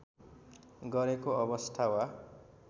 गरेको अवस्था वा